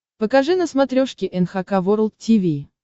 покажи на смотрешке эн эйч кей волд ти ви